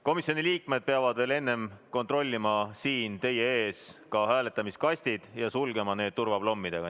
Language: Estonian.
Komisjoni liikmed peavad veel enne siin teie ees hääletamiskastid üle kontrollima ja sulgema need turvaplommidega.